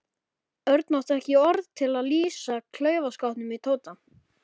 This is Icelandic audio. Örn átti ekki orð til að lýsa klaufaskapnum í Tóta.